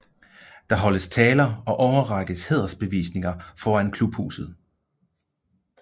Der holdes taler og overrækkes hædersbevisninger foran klubhuset